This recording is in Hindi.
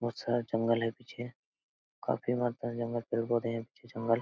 बहुत सारा जंगल है पीछे काफी मात्रा में पेड़ पौधे हैं पीछे जंगल--